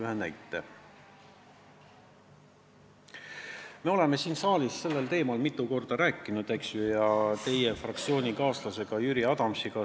Me oleme siin saalis sellel teemal mitu korda rääkinud, seda ka teie fraktsioonikaaslase Jüri Adamsiga.